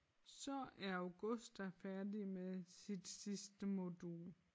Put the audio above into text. Så er Augusta færdig med sit sidste modul